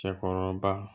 Cɛkɔrɔba